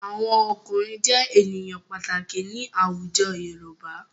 Àwọn ọkùnrin jẹ́ ènìyàn pàtàkì ní àwùjọ Yorùbá.